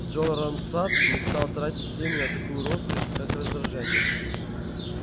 джоран сатт не стал тратить время на такую роскошь как раздражение